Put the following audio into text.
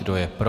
Kdo je pro?